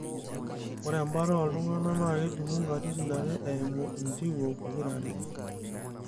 ore ebata oo ltungana naa kejungu katitin are eimu intiwuo pokira are